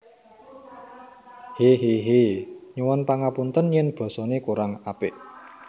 Hehehe Nyuwun pangapunten yen basa ne kurang apik